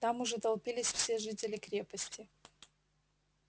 там уже толпились все жители крепости